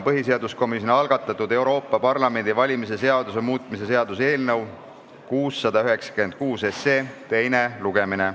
Põhiseaduskomisjoni algatatud Euroopa Parlamendi valimise seaduse muutmise seaduse eelnõu 696 teine lugemine.